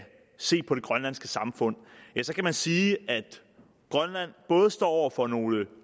se overordnet på det grønlandske samfund så kan man sige at grønland både står over for nogle